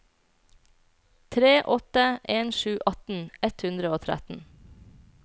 tre åtte en sju atten ett hundre og tretten